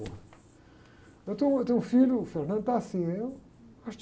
Eu tenho, tenho um filho, o está assim